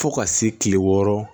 Fo ka se kile wɔɔrɔ